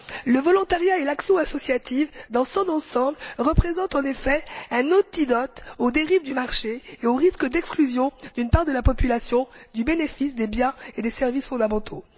Le volontariat et l'action associative dans son ensemble représentent en effet un antidote aux dérives du marché et aux risques d'exclusion d'une part de la population du bénéfice des biens et des services fondamentaux.